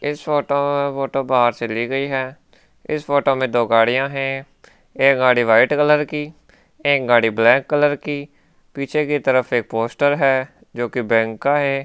इस photo photo बाहर से ली गई है इस फोटो में दो गाड़िया है एक गाड़ी वाइट कलर की एक गाड़ी ब्लैक कलर की पीछे की तरफ एक पोस्टर है जोकि बैंक का है।